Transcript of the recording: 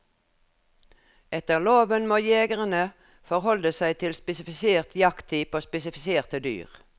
Etter loven må jegerne forholde seg til spesifisert jakttid på spesifiserte dyr.